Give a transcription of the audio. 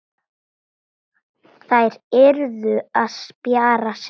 Þær yrðu að spjara sig.